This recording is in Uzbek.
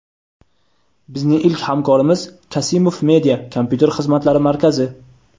Bizning ilk hamkorimiz "Kasimoof media" kompyuter xizmatlari markazi.